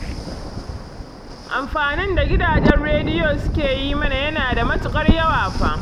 Amfanin da gidajen rediyo suke yi mana yana da matuƙar yawa fa